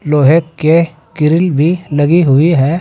लोहे के ग्रिल भी लगी हुई है।